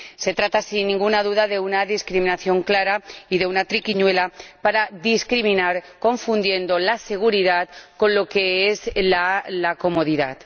Se trata, sin ninguna duda, de una discriminación clara y de una triquiñuela para discriminar, confundiendo la seguridad con la comodidad.